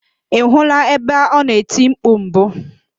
Ị hụla ebe ọ na-eti mpku mbụ?